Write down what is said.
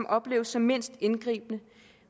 opleves som mindst indgribende